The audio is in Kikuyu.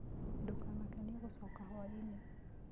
Ndũkamake nĩ egũcoka hwainĩ